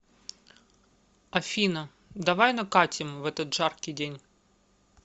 афина давай накатим в этот жаркий день